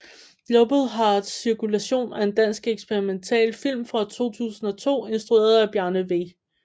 Global Heart Cirkulation er en dansk eksperimentalfilm fra 2002 instrueret af Bjarne v